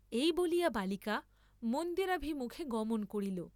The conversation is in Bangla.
এই বলিয়া বালিকা মন্দিরাভিমুখে গমন করিল।